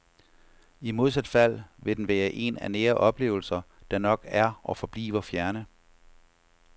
I modsat fald vil den være en af nære oplevelser, der nok er og forbliver fjerne.